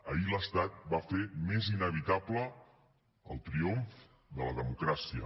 ahir l’estat va fer més inevitable el triomf de la democràcia